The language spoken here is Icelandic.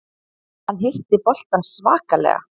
Hann hitti boltann svakalega.